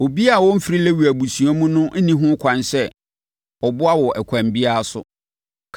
Obiara a ɔmfiri Lewi abusua mu nni ho kwan sɛ ɔboa wo ɛkwan biara so.